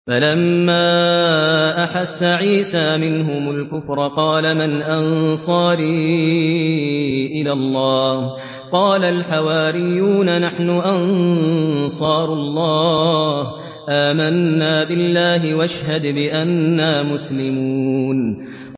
۞ فَلَمَّا أَحَسَّ عِيسَىٰ مِنْهُمُ الْكُفْرَ قَالَ مَنْ أَنصَارِي إِلَى اللَّهِ ۖ قَالَ الْحَوَارِيُّونَ نَحْنُ أَنصَارُ اللَّهِ آمَنَّا بِاللَّهِ وَاشْهَدْ بِأَنَّا مُسْلِمُونَ